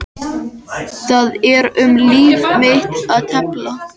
Það er um líf mitt að tefla.